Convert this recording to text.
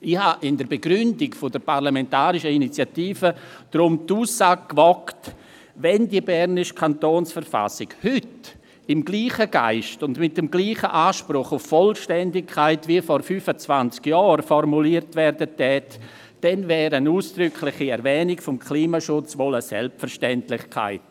Ich habe in der Begründung der parlamentarischen Initiative deshalb die Aussage gewagt: Wenn die bernische Kantonsverfassung heute im selben Geist und mit demselben Anspruch auf Vollständigkeit wie vor 25 Jahren formuliert würde, dann wäre eine ausdrückliche Erwähnung des Klimaschutzes wohl eine Selbstverständlichkeit.